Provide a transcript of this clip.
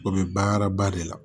O bɛ banraba de la